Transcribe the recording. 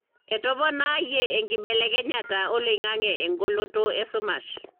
etoponayie enkibelekenyata oloingange engoloto esumash.